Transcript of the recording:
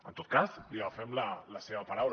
en tot cas li agafem la seva paraula